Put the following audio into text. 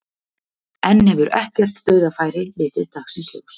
Enn hefur ekkert dauðafæri litið dagsins ljós.